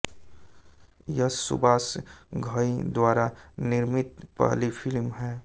यह सुभाष घई द्वारा निर्मित पहली फिल्म है